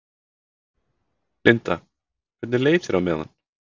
Linda: Hvernig leið þér á meðan?